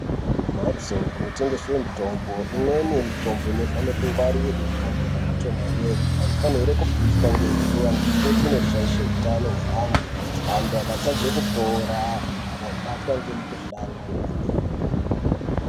Kumhatso kunotengeswe mitombo imweni yemitombo inofane kungwarirwe pantu panotontorere. Aifaninhiri kupishwa ngezuwa ngekuti inoshaishe utano hweantu, antu akatadze kupora, akabatwa ngemikhuhlani kwemene.